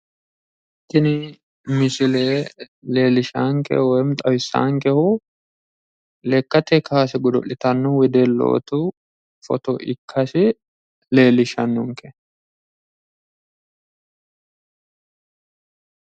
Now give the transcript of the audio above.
Tini misile leellishshaankehu woyi xawisaankehu lekkate kaase godo'litanno wedellootu foto ikkase leellishshannonke.